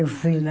Eu fui lá.